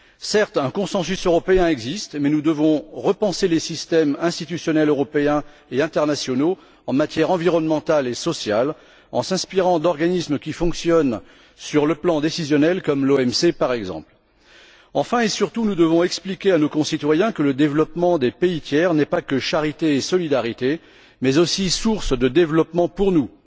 Certes, un consensus européen existe mais nous devons repenser les systèmes institutionnels européens et internationaux en matière environnementale et sociale, en nous inspirant d'organismes qui fonctionnent sur le plan décisionnel comme l'OMC, par exemple. Enfin et surtout, nous devons expliquer à nos concitoyens que le développement des pays tiers n'est pas que charité et solidarité, mais aussi source de développement pour nous.